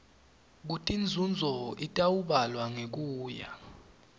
kutinzunzo itawubalwa ngekuya